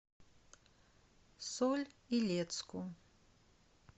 соль илецку